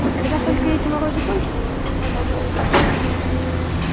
когда только эти морозы кончатся продолжал билл